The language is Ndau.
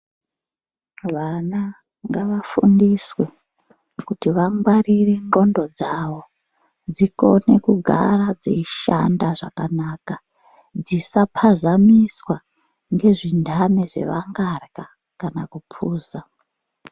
Vana ngavafundiswe kuti vangwarire ndxondo dzavo dzikone kugara dzeishanda zvakanaka dzisapazamisamiswa nezvintani zvavangarya kana kuphuza.